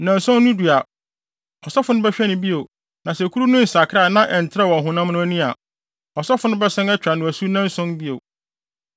Nnanson no du a, ɔsɔfo no bɛhwɛ no bio na sɛ kuru no nsakrae na ɛntrɛwee wɔ ɔhonam no ani a, ɔsɔfo no bɛsan atwa no asu nnanson bio.